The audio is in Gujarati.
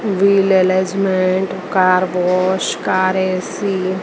wheel alignment car wash car AC --